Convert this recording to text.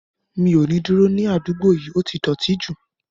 Mi ò ní dúró ní àdúgbò yìí, ó ti dọ̀ọ̀tí jù